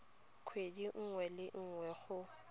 kgwedi nngwe le nngwe go